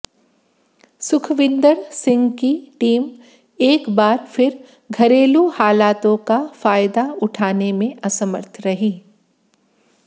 सुखविंदर सिंह की टीम एक बार फिर घरेलू हालातों का फायदा उठाने में असमर्थ रही